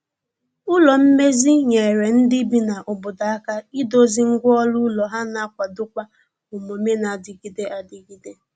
ụlọ mmezi nyere ndi bi na obodo aka ịdozi ngwa ọrụ ụlọ ha na akwado kwa omume na adigide adigide